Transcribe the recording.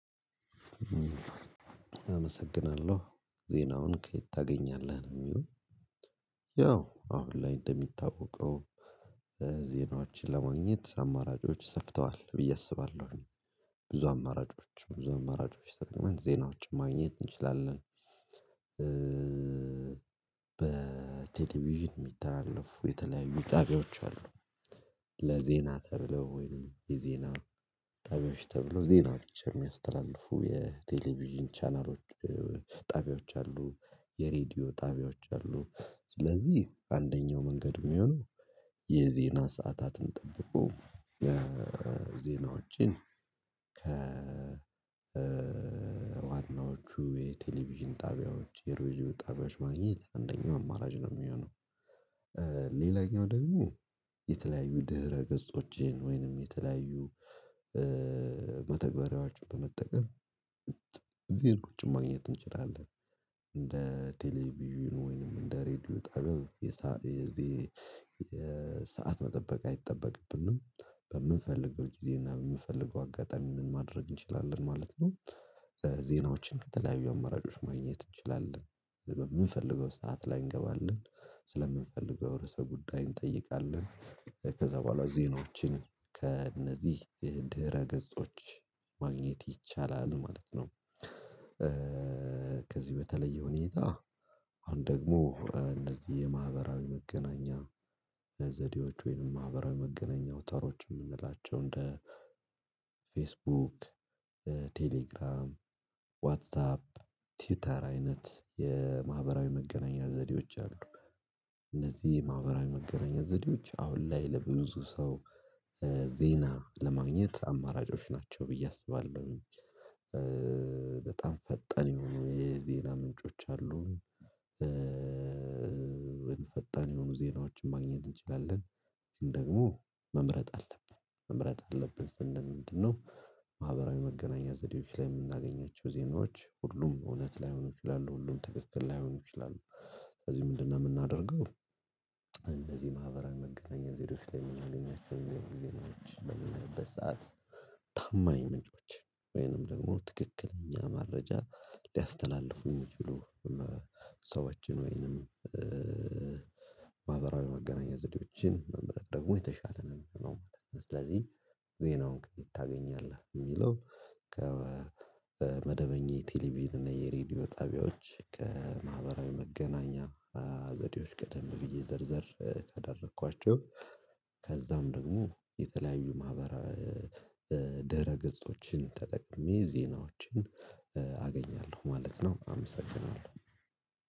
አመሰግናለሁ ዜናውን ከየት ታገኛለህ ነው? ያው አሁን ላይ እንደሚታወቀው ዜናችን ለማግኘት አማራጮች ሰፍተዋል ብዬ አስባለሁኝ። ብዙ አማራጮች ብዙ አማራጮች ተጠቅመን ዜናዎችን ማግኘት እንችላለን። በቴሌቪዥን የሚተላለፉ የተለያዩ ጣቢያዎች አሉ። ለዜና ተብሎ ወይንም የዜና ጠበሽ ተብሎ ዜና ብቻ የሚያስተላልፉ የቴሌቪዥን ቻናሎች። ጣቢያዎች አሉ። የሬዲዮ ጣቢያዎች አሉ። ስለዚህ አንደኛው መንገድ የሚሆነው የዜና ሰዓታትን ጠብቆ ዜናዎችን ከ ዋናዎቹ የቴሌቪዥን ጣቢያዎች የሬዲዮ ጣቢያዎች ማግኘት አንደኛው አማራጭ ነው የሚሆነው። ሌላኛው ደግሞ የተለያዩ ድህረ ገጾቼን ወይንም የተለያዩ በተግባራችሁ በመጠቀም እዚህን ቁጭ ማግኘት እንችላለን። እንደ ቴሌቪዥን ወይንም እንደ ሬድዮ ጠገብ የሰዓት መጠበቅ አይጠበቅብንም በምንፈልገው ጊዜ እና በምንፈልገው አጋጣሚ ምን ማድረግ እንችላለን ማለት ነው። ዜናዎችን ከተለያዩ አማራጮች ማግኘት እንችላለን። በምንፈልገው ሰዓት ላይ እንገባለን። ስለምንፈልግ በውርሰ ጉዳይ እንጠይቃለን። ከዛ በኋላ ዜናዎችን ከእነዚህ የድህረ ገጾች ማግኘት ይቻላል ማለት ነው። ከዚህ በተለየ ሁኔታ አሁን ደግሞ እነዚህ የማህበራዊ መገናኛ ዘዴዎች ወይንም ማህበራዊ መገናኛ አውታሮች እንደ ፌስቡክ ቴሌግራም ዋትሳፕ ትዊተር አይነት የማህበራዊ መገናኛ ዘዴዎች አሉ። እነዚህ የማህበራዊ መገናኛ ዘዴዎች አሁን ላይ ለብዙ ሰው ዜና ለማግኘት አማራጮች ናቸው ብዬ አስባለሁ። በጣም ፈጠን የሆኑ የዜና ምንጮች አሉ። ወይም ፈጣን የሆኑ ዜናዎችን ማግኘት እንችላለን። ግን ደግሞ መምረጥ አለብን መምረጥ አለብን ስንል ምንድነው? ማህበራዊ መገናኛ ዘዴዎች ላይ የምናገኛቸው ዜናዎች ሁሉም እውነት ላይሆን ይችላሉ ሁሉም ትክክል ላይሆን ይችላሉ። ስለዚህ ምንድነው የምናደርገው? እንደዚህ ማህበራዊ መገናኛ ዘዴዎች ላይ የምናገኛቸውን የእግዚአብሔር ጊዜ ላይ የምንለውበት ሰዓት። ታማኝ ምንጮች ወይንም ደግሞ ትክክለኛ መረጃ ሊያስተላልፉኝ ሊችሉ ሰዎችን ወይንም ማህበራዊ መገናኛ ዘዴዎችን መመረጥ ደግሞ የተሻለ ነው ማለት ነው። ስለዚህ ዜናውን ከየት ታገኛለህ የሚለው? ከመደበኛ የቴሌቪዥን እና የሬዲዮ ጣቢያዎች ከማህበራዊ መገናኛ ዘዴዎች ቀደም ብዬ ዘርዘር ካደረኳቸው። ከዛም ደግሞ የተለያዩ ማህበራዊ ድህረ ገጾችን ተጠቅሜ ዜናዎችን አገኛለሁ ማለት ነው። አመሰግናለሁ።